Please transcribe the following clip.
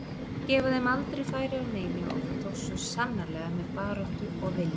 Gefa þeim aldrei færi á neinu og það tókst svo sannarlega með baráttu og vilja.